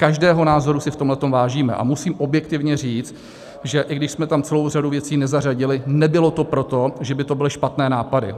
Každého názoru si v tomhle vážíme a musím objektivně říct, že i když jsme tam celou řadu věcí nezařadili, nebylo to proto, že by to byly špatné nápady.